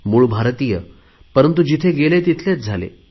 मूळ भारतीय परंतु जिथे गेले तिथलेच झाले